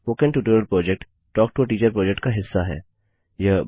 spoken tutorial project talk to a teacher project का हिस्सा है